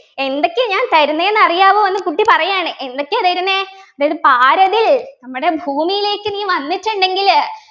എന്തൊക്കെയാ ഞാൻ തരുന്നെന്നറിയാവോ എന്ന് കുട്ടി പറയാണ് എന്തൊക്കെ തരുന്നേ അതായത് പാരതിൽ നമ്മുടെ ഭൂമിയിലേക്ക് നീ വന്നിട്ടുണ്ടെങ്കില്